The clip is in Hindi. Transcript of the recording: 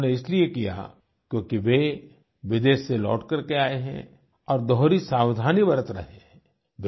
ऐसा उन्होंने इसलिए किया क्योंकि वे विदेश से लौट करके आये हैं और दोहरी सावधानी बरत रहे हैं